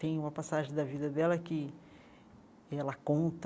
Tem uma passagem da vida dela que ela conta